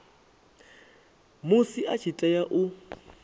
musi a tshi tea u